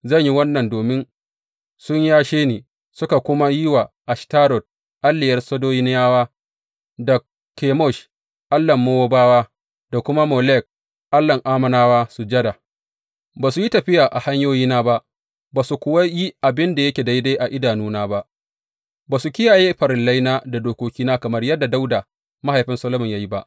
Zan yi wannan domin sun yashe ni, suka kuma yi wa Ashtarot, alliyar Sidoniyawa, da Kemosh, allahn Mowabawa, da kuma Molek, allahn Ammonawa sujada, ba su yi tafiya a hanyoyina ba, ba su kuwa yi abin da yake daidai a idanuna ba, ba su kiyaye farillaina da dokokina kamar yadda Dawuda, mahaifin Solomon ya yi ba.